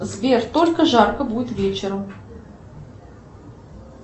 сбер только жарко будет вечером